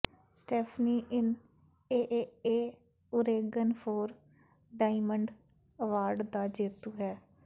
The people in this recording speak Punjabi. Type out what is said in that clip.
Stephanie Inn AAA Oregon Four Diamond Award ਦਾ ਜੇਤੂ ਹੈ